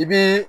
I bi